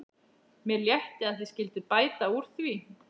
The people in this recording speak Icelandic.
Mér létti að þið skylduð bæta úr því.